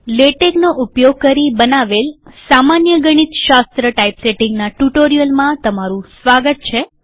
લેટેકનો ઉપયોગ કરી બનાવેલ સામાન્ય ગણિતશાસ્ત્ર ટાઇપસેટીંગના ટ્યુટોરીયલમાં તમારું સ્વાગત છે